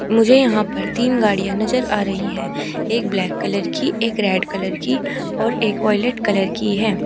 मुझे यहां पर तीन गाड़ियां नजर आ रही है एक ब्लैक कलर की एक रेड कलर की और एक वायलेट कलर की है।